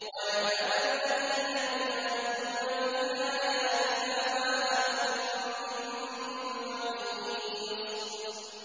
وَيَعْلَمَ الَّذِينَ يُجَادِلُونَ فِي آيَاتِنَا مَا لَهُم مِّن مَّحِيصٍ